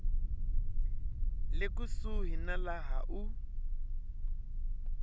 le kusuhi na laha u